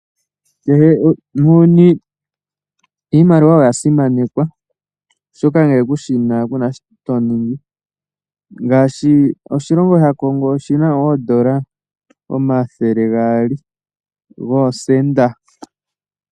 Muuyuni iimaliwa oyo ya simanekwa, oshoka ngele ngele kushina kuna shoka to vulu okuninga. Oshilongo shaKongo oshina oondola omathele gaali goosenda.